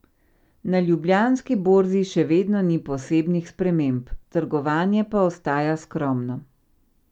Na Ljubljanski borzi še vedno ni posebnih sprememb, trgovanje pa ostaja skromno.